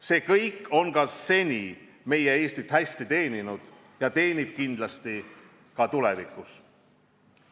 See kõik on seni meie Eestit hästi teeninud ja teenib kindlasti ka tulevikus.